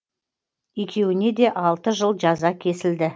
екеуіне де алты жыл жаза кесілді